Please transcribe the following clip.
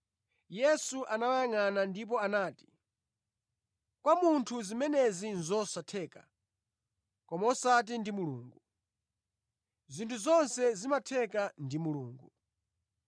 Yesu anawayangʼana ndipo anati, “Kwa munthu zimenezi nʼzosatheka, koma osati ndi Mulungu; zinthu zonse zimatheka ndi Mulungu.”